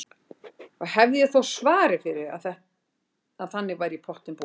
Og hefði ég þó svarið fyrir að þannig væri í pottinn búið.